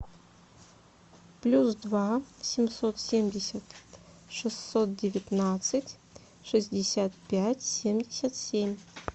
плюс два семьсот семьдесят шестьсот девятнадцать шестьдесят пять семьдесят семь